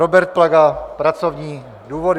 Robert Plaga pracovní důvody.